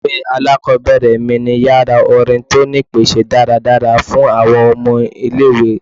Ile-iwe alakọbẹrẹ mi ni yara orin ti o ni ipese daradara fun awọn ọmọ ile-iwe